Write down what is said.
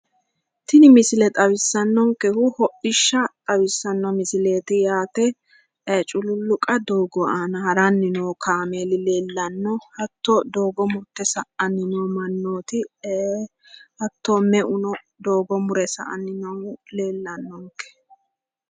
Tini misile xawissannonkehu hodhishsha xawissanno misileeti yaate. Cululluqa doogo aana haranni noo kaameeli leellanno. Hatto doogo murte sa"anni noo mannooti hatto meuno doogo mure sa"anni noohu leellannonke.